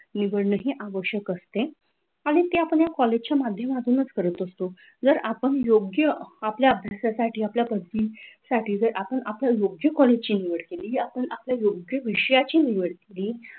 निवड नाही आवश्यक असते, आणि आपण कॉलेजच्या माध्यमातून करत असतो. जर आपण योग्य आपल्या अभ्यासासाठी आपल्या पदवीसाठी आपण आपल्या योग्य कॉलेजची निवड केली आपण योग्य विषयाची निवड केली,